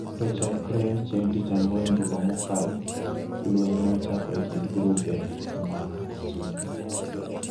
To chakre chieng’ tich ang’wen juma mokalo, lweny ne ochako e kind grube mag Sunni .